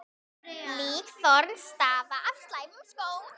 Líkþorn stafa af slæmum skóm.